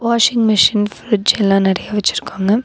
Washing machine fridge எல்லா நறைய வெச்சிருக்காங்க.